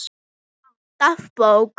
Alltaf bók.